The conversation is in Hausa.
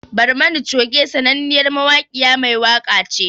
Barmani Choge sananniyar Jaruma mai waka ce